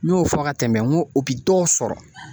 N y'o fɔ ka tɛmɛ n ko o bi dɔw sɔrɔ